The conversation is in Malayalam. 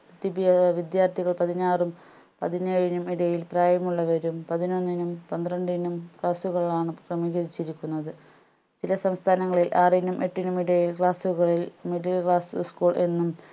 ദ്വിതീയ വിദ്യാർത്ഥികൾ പതിനാറും പതിനേഴിനും ഇടയിൽ പ്രായമുള്ളവരും പതിനൊന്നിനും പന്ത്രണ്ടിനും class കളാണ് ക്രമീകരിച്ചിരിക്കുന്നത് ചില സംസ്ഥാനങ്ങളിൽ ആറിനും എട്ടിനും ഇടയിൽ class കളിൽ middle class school എന്നും